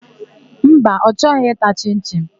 Mba, ọ chọghị ịta chịn-chịn.